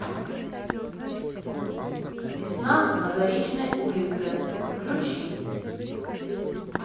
весна на заречной улице включи